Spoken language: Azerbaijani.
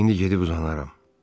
İndi gedib uzanaram.